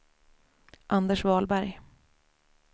Anders Wahlberg